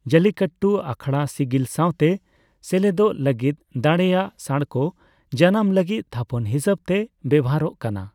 ᱡᱟᱞᱞᱤᱠᱟᱴᱴᱩ ᱟᱠᱷᱟᱲᱟ ᱥᱤᱜᱤᱞ ᱥᱟᱣᱛᱮ ᱥᱮᱞᱮᱫᱚᱜ ᱞᱟᱹᱜᱤᱫ ᱫᱟᱲᱮᱭᱟᱜ ᱥᱟᱬᱠᱚ ᱡᱟᱱᱟᱢ ᱞᱟᱹᱜᱤᱫ ᱛᱷᱟᱯᱚᱱ ᱦᱤᱥᱟᱹᱵ ᱛᱮ ᱵᱮᱣᱦᱟᱨᱚᱜ ᱠᱟᱱᱟ ᱾